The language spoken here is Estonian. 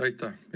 Aitäh!